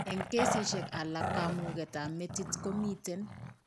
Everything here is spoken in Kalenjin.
Eng' kesisiek alak kamuuket ab metit komiten